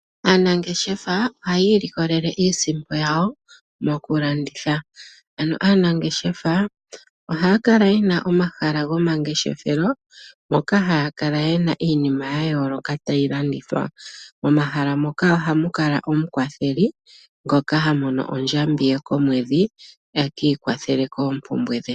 Aanangeshefa ohayii ilikolele iisimpo yawo mokulanditha, ano aanangeshefa ohaya kala yena omahala goma ngeshefelo moka haya kala yena iinima yayooloka tayi landithwa, momehala moka ohamukala omukwathele ngoka hamono ndjambi ye komwedhi ekiikwathele noompumbwe dhe.